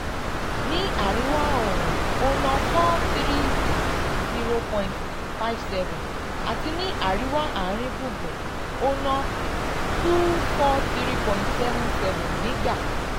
ní àríwá ìwọ̀ oòrùn ó ná n four hundred thirty point five seven àti ní àríwá àárín gbùngbùn ó ná n two hundred forty three point seven seven nígbà